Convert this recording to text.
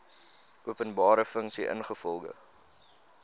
openbare funksie ingevolge